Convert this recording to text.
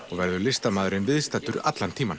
og verður listamaðurinn viðstaddur allan tímann